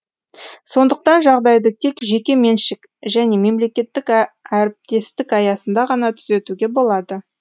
сондықтан жағдайды тек жеке меншік және мемлекеттік әріптестік аясында ғана түзетуге болады